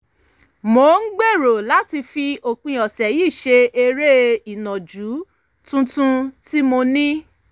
mo ń gbèrò láti fi òpin ọ̀sẹ̀ yìí ṣe eré ìnàjú tuntun tí mo ní